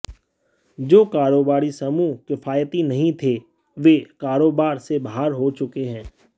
जो कारोबारी समूह किफायती नहीं थे वे कारोबार से बाहर हो चुके हैं